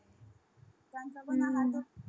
आता पण ना